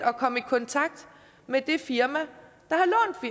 at komme i kontakt med det firma